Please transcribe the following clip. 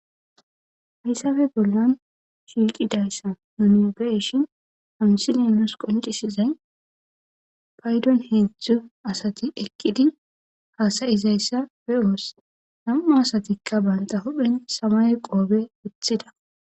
Haysdappe bollan shiqidaysa ha misiley qonccissizay paydon heedzdzu asati eqqidi haasa7izaysa be7os asatika Banta huphen Mayo qobey wothida